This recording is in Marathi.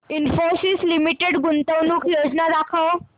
इन्फोसिस लिमिटेड गुंतवणूक योजना दाखव